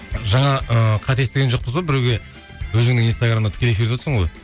жаңа ыыы қате естіген жоқпыз ба біреуге өзіңнің инстаграмыңда тікелей эфирде отырсың ғой